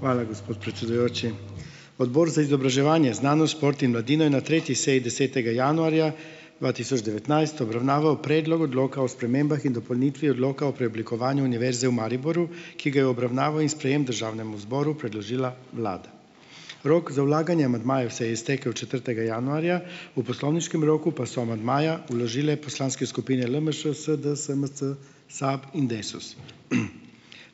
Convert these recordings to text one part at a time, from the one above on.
Hvala, gospod predsedujoči. Odbor za izobraževanje, znanost, šport in mladino je na tretji seji desetega januarja dva tisoč devetnajst obravnaval predlog odloka o spremembah in dopolnitvi odloka o preoblikovanju Univerze v Mariboru, ki ga je obravnavo in sprejem državnemu zboru predložila vlada. Rok za vlaganje amadmajev se je iztekel četrtega januarja, v poslovniškem roku pa so amandmaja vložile poslanske skupine LMŠ, SD, SMC, SAB in Desus.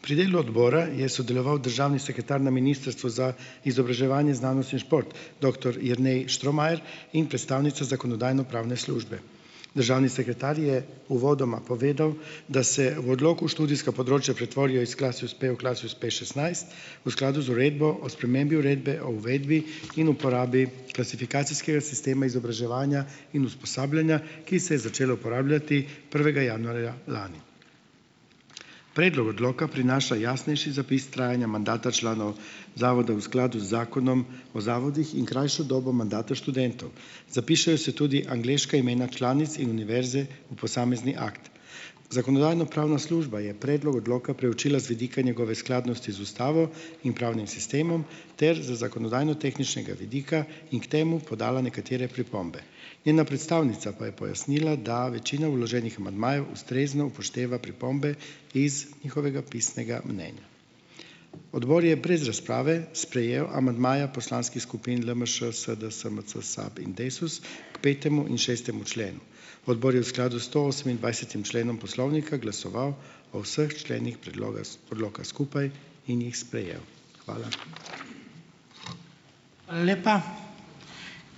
Pri delu odbora je sodeloval državni sekretar na Ministrstvu za izobraževanje, znanost in šport, doktor Jernej Štromajer, in predstavnica Zakonodajno-pravne službe. Državni sekretar je uvodoma povedal, da se v odloku študijska področja pretvorijo iz Klasius P v Klasius P šestnajst, v skladu z uredbo o spremembi uredbe o uvedbi in uporabi klasifikacijskega sistema izobraževanja in usposabljanja, ki se je začel uporabljati prvega januarja lani. Predlog odloka prinaša jasnejši zapis trajanja mandata članov zavoda v skladu z Zakonom o zavodih in krajšo dobo mandata študentov. Zapišejo se tudi angleška imena članic in univerze v posamezni akt. Zakonodajno-pravna služba je predlog odloka preučila z vidika njegove skladnosti z ustavo in pravnim sistemom ter za zakonodajno tehničnega vidika in k temu podala nekatere pripombe. Njena predstavnica pa je pojasnila, da večina vloženih amadmajev ustrezno upošteva pripombe iz njihovega pisnega mnenja. Odbor je brez razprave sprejel amandmaja poslanskih skupin LMŠ, SD, SMC, SAB in Desus k petemu in šestemu členu. Odbor je v skladu s stoosemindvajsetim členom poslovnika glasoval o vseh členih predloga odloka skupaj in jih sprejel. Hvala.